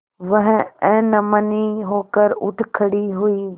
वह अनमनी होकर उठ खड़ी हुई